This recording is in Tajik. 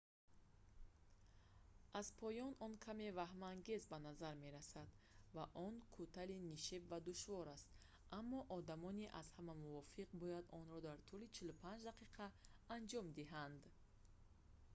аз поён он каме ваҳмангез ба назар мерасад ва он кӯтали нишеб ва душвор аст аммо одамони аз ҳама мувофиқ бояд онро дар тӯли 45 дақиқа анҷом диҳанд